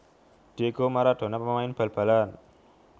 Diego Maradona pemain bal balan